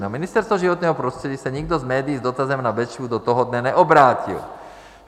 Na Ministerstvo životního prostředí se nikdo z médií s dotazem na Bečvu do toho dne neobrátil.